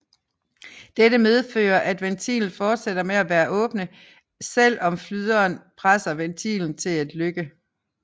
Dette medfører at ventilen fortsætter med at være åbne selv om flyderen presser ventilen til at lykke